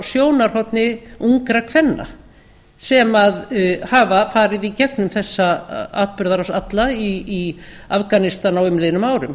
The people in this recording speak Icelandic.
sjónarhorni ungra kvenna sem hafa farið í gengum þessa atburðarás alla í afganistan á umliðnum árum